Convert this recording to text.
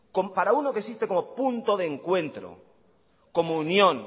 para uno que existe como punto de encuentro como unión